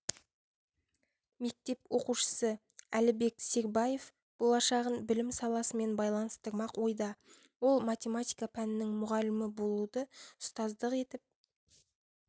мектеп оқушысы әлібек сербаев болашағын білім саласымен байланыстырмақ ойда ол математика пәнінің мұғалімі болуды ұстаздық етіп